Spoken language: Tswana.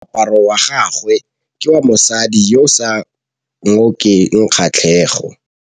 Moaparô wa gagwe ke wa mosadi yo o sa ngôkeng kgatlhegô.